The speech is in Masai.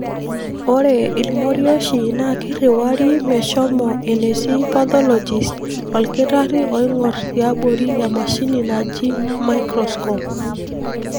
Ore ilmorioshi na kiriwari meshomo enetii pathologist olkitari oingor tiabori emashini naaji miscroscope.